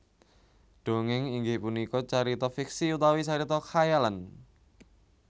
Dongéng inggih punika carita fiksi utawi carita khayalan